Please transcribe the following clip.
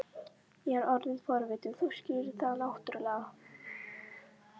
Ég er orðinn forvitinn, þú skilur það náttúrlega.